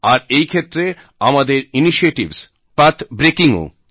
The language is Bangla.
আর এই ক্ষেত্রে আমাদের ইনিশিয়েটিভস পাথ ব্রেকিং ও